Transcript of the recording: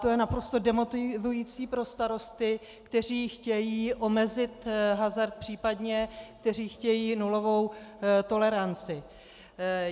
To je naprosto demotivující pro starosty, kteří chtějí omezit hazard, případně kteří chtějí nulovou toleranci.